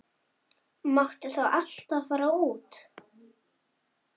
Máttu þá alltaf fara út?